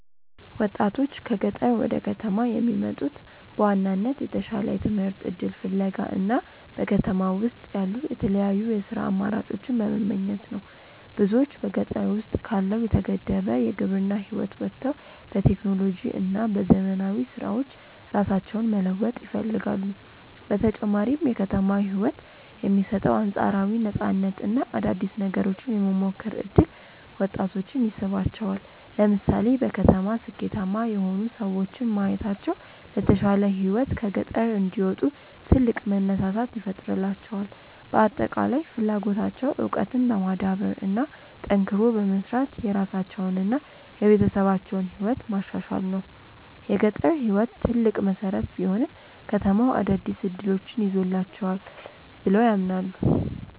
ወጣቶች ከገጠር ወደ ከተማ የሚመጡት በዋናነት የተሻለ የትምህርት እድል ፍለጋ እና በከተማ ውስጥ ያሉ የተለያዩ የሥራ አማራጮችን በመመኘት ነው። ብዙዎች በገጠር ውስጥ ካለው የተገደበ የግብርና ህይወት ወጥተው በቴክኖሎጂ እና በዘመናዊ ስራዎች ራሳቸውን መለወጥ ይፈልጋሉ። በተጨማሪም የከተማው ህይወት የሚሰጠው አንፃራዊ ነፃነት እና አዳዲስ ነገሮችን የመሞከር እድል ወጣቶችን ይስባቸዋል። ለምሳሌ በከተማ ስኬታማ የሆኑ ሰዎችን ማየታቸው ለተሻለ ህይወት ከገጠር እንዲወጡ ትልቅ መነሳሳት ይፈጥርላቸዋል። በአጠቃላይ ፍላጎታቸው እውቀትን በማዳበር እና ጠንክሮ በመስራት የራሳቸውንና የቤተሰባቸውን ህይወት ማሻሻል ነው። የገጠር ህይወት ትልቅ መሰረት ቢሆንም፣ ከተማው አዳዲስ እድሎችን ይዞላቸዋል ብለው ያምናሉ።